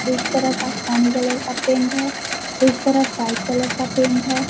एक तरफ आसमानी कलर का पेंट है एक तरफ व्हाइट कलर का पेंट है।